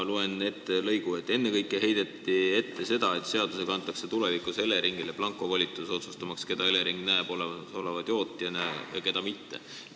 Loen ette lõigu: "Ennekõike heideti ette seda, et seadusega antakse tulevikus Eleringile blankovolitus otsustamaks, keda Elering näeb olemasoleva tootjana ja keda mitte.